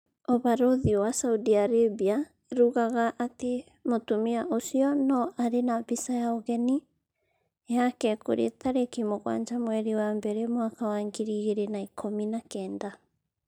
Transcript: Ũbarũthi wa Saudi Arabia ĩrugaga atĩ mũtumia ũcio 'no arĩ na mbica ya ũgeni yake kũrĩ arĩki mũgwanja mweri wa mbere mwaka wa ngiri igĩrĩ na ikũmi na kenda